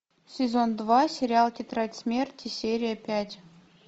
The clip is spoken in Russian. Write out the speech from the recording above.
сезон два сериал тетрадь смерти серия пять